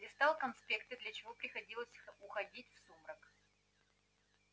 листал конспекты для чего приходилось уходить в сумрак